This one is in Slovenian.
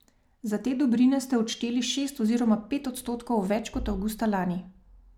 Za te dobrine ste odšteli šest oziroma pet odstotkov več kot avgusta lani.